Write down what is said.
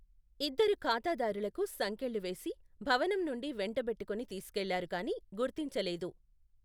ఇద్దరు ఖాతాదారులకు సంకెళ్లు వేసి, భవనం నుండి వెంటబెట్టుకొని తీసుకెళ్ళారు కానీ గుర్తించలేదు.